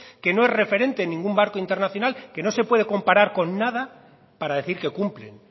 que no es referente en ningún marco internacional que no se pude comparar con nada para decir que cumplen